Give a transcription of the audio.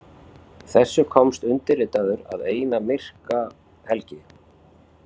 Þessu komst undirritaður að eina myrka helgi.